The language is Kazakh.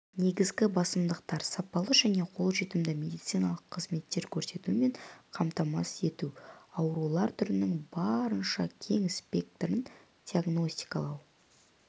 негізгі басымдықтар сапалы және қолжетімді медициналық қызметтер көрсетумен қамтамасыз ету аурулар түрінің барынша кең спектрін диагностикалау